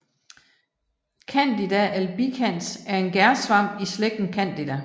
Candida albicans er en gærsvamp i slægten Candida